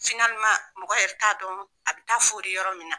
mɔgɔ yɛrɛ t'a dɔn a bɛ taa foli yɔrɔ min na.